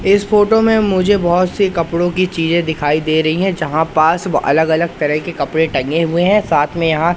इस फोटो में मुझे बहुत सी कपड़ों की चीजें दिखाई दे रही हैं जहां पास वो अलग अलग तरह के कपड़े टंगे हुए हैं साथ में यहां--